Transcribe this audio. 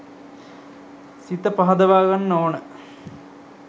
සිත පහදවා ගන්න ඕන.